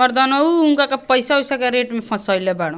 मर्दानवू उनका के पैसा उइसा के रेट में फसैले बाड़न।